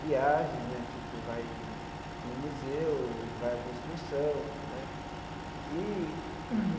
viagens né, tipo, vai no no museu, vai em alguma excursão né e.